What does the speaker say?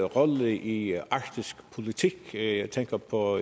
rolle i arktisk politik jeg tænker på